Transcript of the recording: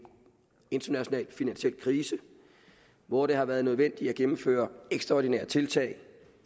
international finansiel krise hvor det har været nødvendigt at gennemføre ekstraordinære tiltag